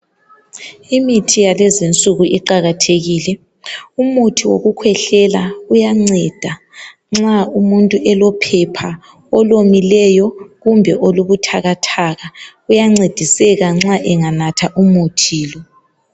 Imithi yalezinsuku iqakathekile. Umuthi wokukhwehlela uyanceda nxa umuntu elophepha olomileyo kumbe olubuthakathaka. Uyancediseka nxa enganatha umuthi lo.